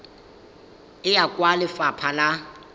e ya kwa lefapha la